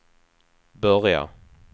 börja